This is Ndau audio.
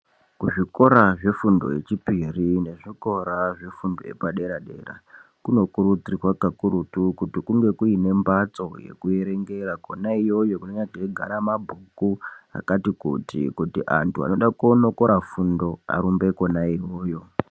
Kuzvikora zvefundo yechipiri , nezvikora zvefundo yepadera-dera, kunokurudzirwa kakurutu kuti kunge kuine mbatso yekuerengera kwona iyoyo kunenga mweigara mabhuku , ekuti antu anoda koonokora fundo arumbe kona iyoyo.